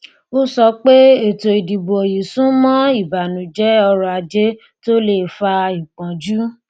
ó sọ pé ètòìdìbò yìí sún mọ ìbànújẹ ọrọajé tó le fa ìpọnjú